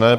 Ne.